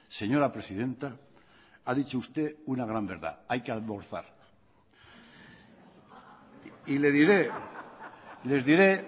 señora presidenta ha dicho usted una gran verdad hay que almorzar y le diré les diré